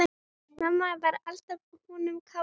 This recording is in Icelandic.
Mamma var alltaf önnum kafin.